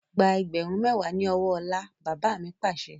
Gba ẹgbẹ̀rún mẹwa ni ọwọ́ ọlá! Bàbá mi Pàṣẹ.